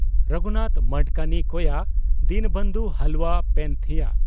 ᱨᱚᱜᱷᱩᱱᱟᱛᱷ ᱢᱟᱰᱠᱟᱱᱤ (ᱠᱚᱭᱟ) ᱫᱤᱱᱵᱚᱱᱫᱷᱩ ᱦᱟᱞᱣᱟ (ᱯᱮᱱᱛᱷᱤᱭᱟᱹ)